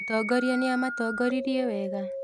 Mũtongoria nĩamatongoririe wega?